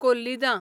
कोल्लिदां